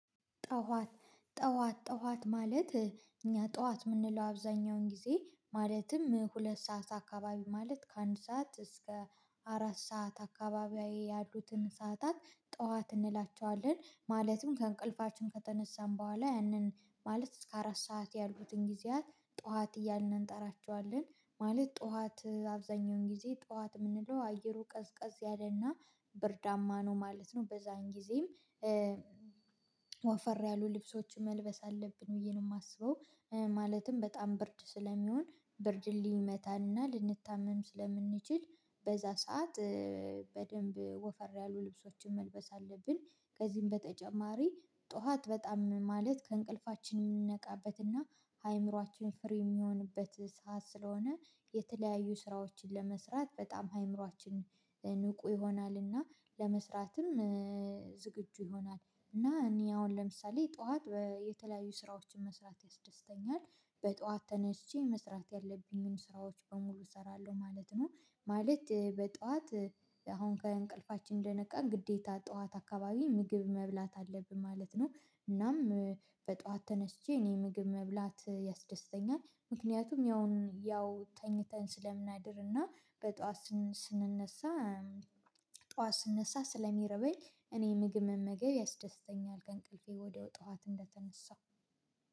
ጠዋት ጠዋት ጠዋት ማለት እኛ ጠዋት የምንለው አብዛኛውን ጊዜ ማለትም ሁለት ሰዓት አካባቢ ማለት ከአንድ ሰዓት እስከ አራት ሰዓት አካባቢ ያሉትን ሰዓታት ጠዋት እንላቸዋለን። ማለትም ከእንቅልፋችን ከተነሳን በኋላ ያንን ማለት እስከ አራት ሰዓት ያሉትን ጊዜያት ጠዋት እያልን እንጠራቸዋለን። ማለት ጠዋት አብዛኛውን ጊዜ ጠዋት የምንለው አየሩ ቀዝቀዝ ያለና ብርዳማ ነው ማለት ነው። በዛን ጊዜም ወፈር ያሉ ልብሶችን መልበስ አለብን ብዬ ነው የማስበው። ማለትም በጣም ብርድ ስለሚሆን ብርድ ሊመታናል ልንታመም ስለምንችል በዛ ሰዓት በደንብ ወፈር ያሉ ልብሶችን መልበስ አለብን። ከዚህም በተጨማሪ ጧት በጣም ማለት ከእንቅልፋችን የምንነቃበትና አይምሮአችን ፍሪ የሚሆንበት ሰዓት ስለሆነ። የተለያዩ ስራዎችን ለመስራት በጣም አእምሮአችን ይሆናልና ለመስራትም ዝግጁ ይሆናል። እና እኔ አሁን ለምሳሌ ጠዋት የተለያዩ ስራዎችን መስራት ያስደስተኛል። በጠዋት ተነስቼ መስራት ያለብኝን ስራዎች በሙሉ እሰራለሁ ማለት ነው። ማለት በጧት አሁን ከእንቅልፋችን እንደነቃን ግዴታ ጠዋት አካባቢ ምግብ መብላት አለብን ማለት ነው። እናም በጠዋት ተነስቼ እኔ ምግብ መብላት ያስደስተኛል ምክንያቱም ያው ያው ተኝተን ስለምናድርና በጧት ስን ስንነሳ። ጠዋት ስንነሳ ስለሚረበኝ እኔ ምግብ መመገብ ያስደስተኛል ከእንቅልፌ ወዲያው ጧት እንደተነሳው